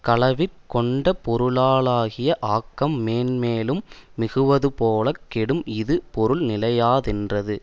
களவிற் கொண்ட பொருளா லாகிய ஆக்கம் மேன் மேலும் மிகுவதுபோலக் கெடும் இது பொருள் நிலையாதென்றது